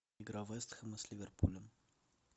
игра вест хэма с ливерпулем